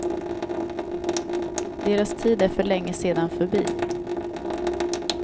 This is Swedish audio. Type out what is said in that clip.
Deras tid är för länge sedan förbi.